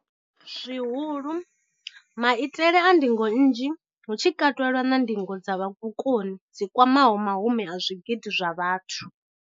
Zwihulu, maitele a ndingo nnzhi, hu tshi katelwa na ndingo dza vhukoni dzi kwamaho mahumi a zwigidi zwa vhathu.